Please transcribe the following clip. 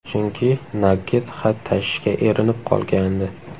Chunki Nagget xat tashishga erinib qolgandi.